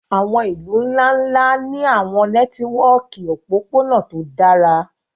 àwọn ilu nla-nla ni àwọn nẹtiwọki opopona to dara